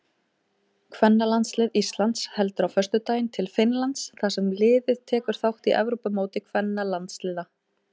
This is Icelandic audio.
Kvennalandslið Íslands heldur á föstudaginn til Finnlands þar sem liðið tekur þátt í Evrópumóti kvennalandsliða.